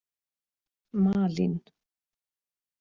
Malín